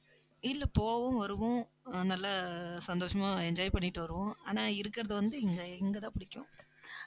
இல்ல போவோம் வருவோம் நல்லா சந்தோஷமா enjoy பண்ணிட்டு வருவோம். ஆனா இருக்குறது வந்து, இங்க இங்க தான் பிடிக்கும்.